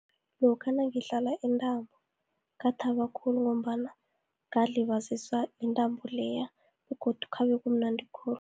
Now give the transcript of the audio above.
Lokha nangidlala intambo, ngathaba khulu, ngombana ngalibaziswa yintambo leya, begodu khabe kumnandi khulu.